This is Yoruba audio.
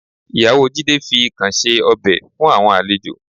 Ìyàwó Jídé fi ikàn ṣe ọbẹ̀ fún àwọn àlejò